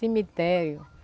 Cemitério.